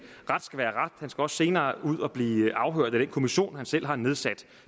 ret skal være ret han skal også senere ud og blive afhørt af den kommission han selv har nedsat